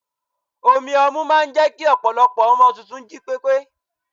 omi ọmu máà ń jẹ́ kí ọpọlọpọ ọmọ tuntun jí pépé